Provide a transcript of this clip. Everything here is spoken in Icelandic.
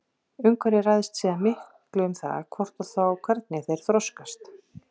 Umhverfið ræður síðan miklu um það hvort og þá hvernig þeir þroskast.